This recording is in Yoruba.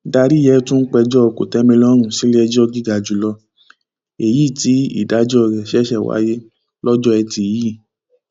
daríyẹ tún péjọ kòtẹmilọrùn síléẹjọ gíga jù lọ èyí tí ìdájọ rẹ ṣẹṣẹ wáyé lọjọ etí yìí